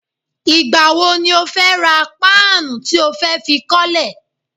Ìgbà wo ni o fẹ́ ra páànù tí ó fẹ́ fi kọ́lẹ́?